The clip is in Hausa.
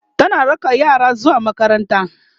tana raka yaranta zuwa makaranta